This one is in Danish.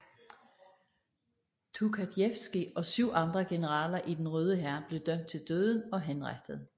Tukhatjevskij og syv andre generaler i den Røde hær blev dømt til døden og henrettet